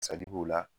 b'o la